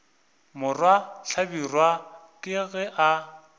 morwa hlabirwa ke ge a